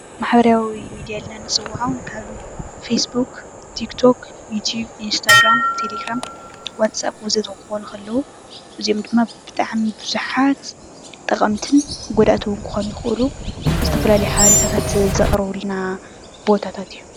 ማሕበራዊ ሚድያ ኢልና ንፅወዖም ከም ፌስቢክ፣ ቲክቶክ፣ ዩትዩብ፣ ኢንስታግራም፣ ተሌ ግራም፣ ዋትስአ ወዘተ ክኮኑ ከለዉ እዚኦም ድማ ብጣዕሚ ብዙሓት ጠቐምትን ጎዳእቲ እዉን ክኮኑ ይክእሉ። ዝተፈላለዩ ሓበሬታት ዘቅርቡልና ቦታታት እዮም።